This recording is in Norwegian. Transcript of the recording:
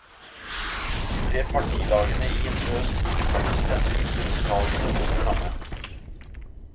De tre partilagene i indre øst vil sammen sende en uttalelse om det samme.